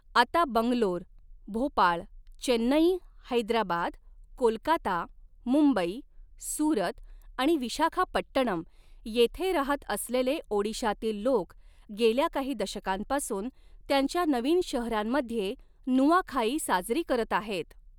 आता बंगलोर, भोपाळ, चेन्नई, हैदराबाद, कोलकाता, मुंबई, सुरत आणि विशाखापट्टणम येथे रहात असलेले ओडिशातील लोक गेल्या काही दशकांपासून त्यांच्या नवीन शहरांमध्ये नुआखाई साजरी करत आहेत.